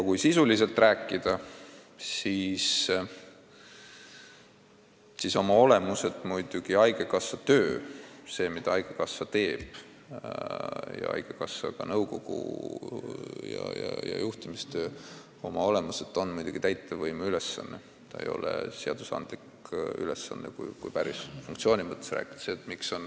Kui sisuliselt rääkida, siis oma olemuselt muidugi haigekassa töö, see, mida haigekassa teeb, ja ka haigekassa nõukogu ja juhtimise töö on muidugi täitevvõimu ülesanne, see ei ole seadusandlik ülesanne, kui päris funktsioonide mõttes rääkida.